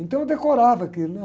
Então eu decorava aquilo, né?